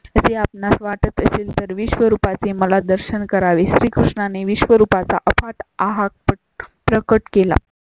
असे आपणास वाटत असेल तर विश्वरूपा ची मला दर्शन करावी. श्रीकृष्णांनी वविश्व्रूपाचा चा अफाट आहात प्रकट केला.